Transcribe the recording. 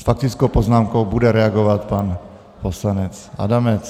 S faktickou poznámkou bude reagovat pan poslanec Adamec.